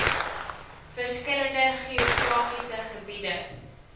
verskillende geografiese gebiede